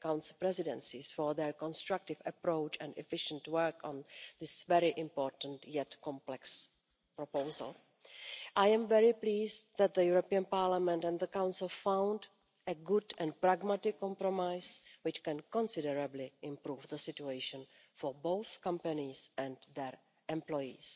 Council presidencies for their constructive approach and efficient work on this very important and complex proposal. I am very pleased that the European Parliament and the Council found a good and pragmatic compromise which can considerably improve the situation for both companies and their employees.